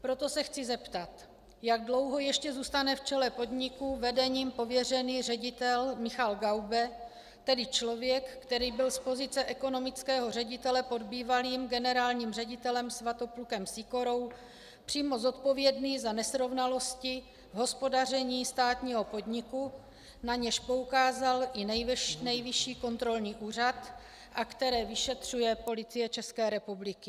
Proto se chci zeptat, jak dlouho ještě zůstane v čele podniku vedením pověřený ředitel Michal Gaube, tedy člověk, který byl z pozice ekonomického ředitele pod bývalým generálním ředitelem Svatoplukem Sýkorou přímo zodpovědný za nesrovnalosti v hospodaření státního podniku, na něž poukázal i Nejvyšší kontrolní úřad a které vyšetřuje Policie České republiky.